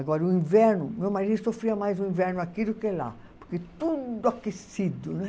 Agora, o inverno, meu marido sofria mais o inverno aqui do que lá, porque tudo aquecido, né?